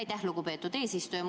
Aitäh, lugupeetud eesistuja!